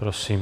Prosím.